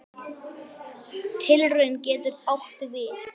Tilraun getur átt við